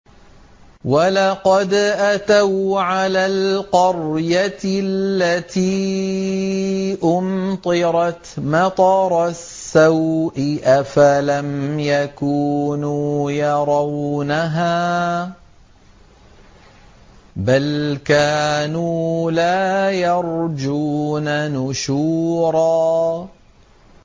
وَلَقَدْ أَتَوْا عَلَى الْقَرْيَةِ الَّتِي أُمْطِرَتْ مَطَرَ السَّوْءِ ۚ أَفَلَمْ يَكُونُوا يَرَوْنَهَا ۚ بَلْ كَانُوا لَا يَرْجُونَ نُشُورًا